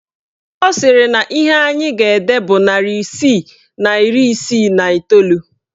Ọ sịrị na ihe anyị ga-ede bụ narị isii na iri isii na iteolu